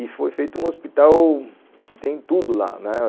E foi feito um hospital que tem tudo lá, né